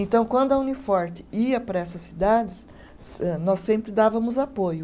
Então, quando a Uniforte ia para essas cidades, âh nós sempre dávamos apoio.